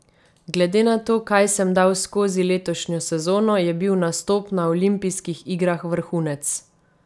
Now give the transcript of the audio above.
Glede na to, kaj sem dal skozi letošnjo sezono, je bil nastop na olimpijskih igrah vrhunec.